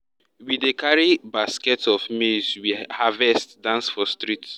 we dey carry baskets of maize we harvest dance for streets